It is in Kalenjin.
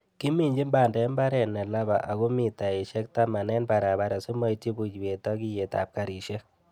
Kiminjin bandek mbaret nelaba ago mitaisiek taman en barabara simoityi buiwet ak iyetab karisiek.